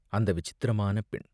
அந்த விசித்திரமான பெண்!